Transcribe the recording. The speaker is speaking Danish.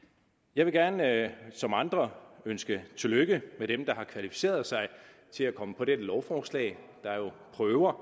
jeg vil gerne som andre ønske tillykke til dem der har kvalificeret sig til at komme på det her lovforslag der er jo prøver